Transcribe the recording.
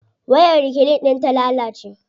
Wayar reclean din ta lalace.